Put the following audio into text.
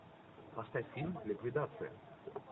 поставь фильм ликвидация